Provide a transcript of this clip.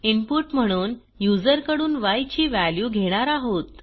input म्हणून युजरकडून य ची व्हॅल्यू घेणार आहोत